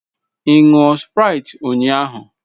Ị ṅụọ sprite ụnyaahụ?